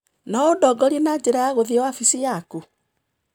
No ũndongorie na njĩra ya gũthiĩ wabici yaku?